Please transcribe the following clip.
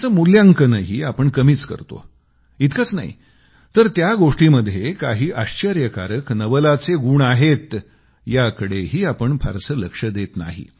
तीचं मूल्यांकनही आपण कमीच करतो इतकंच नाही तर त्या गोष्टीमध्ये काही आश्चर्यकारक नवलाचे गुण आहेत याकडंही आपण फारसं लक्ष देत नाही